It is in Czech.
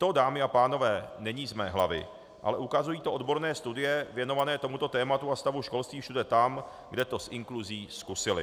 To, dámy a pánové, není z mé hlavy, ale ukazují to odborné studie věnované tomuto tématu a stavu školství všude tam, kde to s inkluzí zkusili.